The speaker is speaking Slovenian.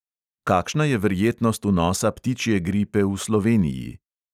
Kakšna je verjetnost vnosa ptičje gripe v sloveniji?